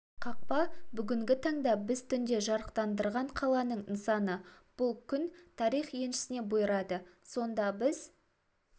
қақпа бүгінгі таңда біз түнде жарықтандырған қаланың нысаны бұл күн тарих еншісіне бұйырады сонда біз